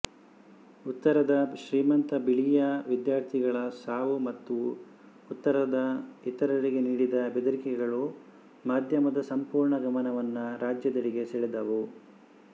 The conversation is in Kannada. ಉತ್ತರದ ಶ್ರೀಮಂತ ಬಿಳಿಯ ವಿದ್ಯಾರ್ಥಿಗಳ ಸಾವು ಮತ್ತು ಉತ್ತರದ ಇತರರಿಗೆ ನೀಡಿದ ಬೆದರಿಕೆಗಳು ಮಾಧ್ಯಮದ ಸಂಪೂರ್ಣ ಗಮನವನ್ನು ರಾಜ್ಯದೆಡೆಗೆ ಸೆಳೆದವು